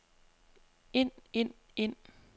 ind ind ind